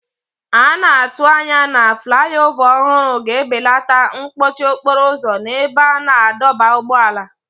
A na-atụ anya na fulaiova ọhụrụ ga-ebelata mkpọchi okporo ụzọ n'ebe a na-adọba ụgbọala.